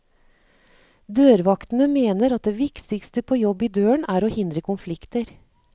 Dørvaktene mener at det viktigste på jobb i døren er å hindre konflikter.